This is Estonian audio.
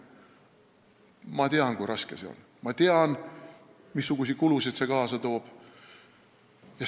Ma tean, kui raske see on, ma tean, missuguseid kulusid see kaasa toob.